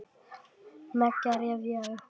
Mega rifja upp.